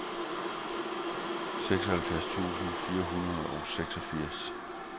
seksoghalvfjerds tusind fire hundrede og seksogfirs